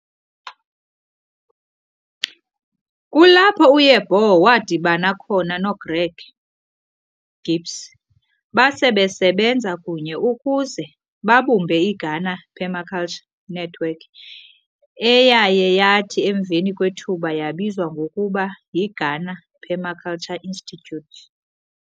Kulapho uYeboah wadibana khona noGreg Knibbs basebesebenza kunye ukuze babumbe iGhana Permaculture Network eyayeyathi emveni kwethuba yabizwa ngokuba yiGhana Permaculture Institute.